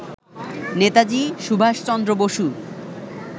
Netaji Subhas Chandra Basu